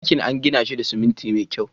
Dakin an gina shi da siminti mai kyau